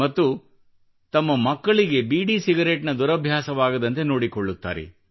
ಮತ್ತು ತಮ್ಮ ಮಕ್ಕಳಿಗೆ ಬೀಡಿ ಸಿಗರೇಟ್ ನ ದುರಭ್ಯಾಸವಾಗದಂತೆ ನೋಡಿಕೊಳ್ಳುತ್ತಾರೆ